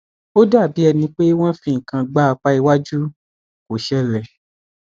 ó dàbí ẹni pé wọn fi nǹkan gbá apá iwájú kò ṣẹlẹ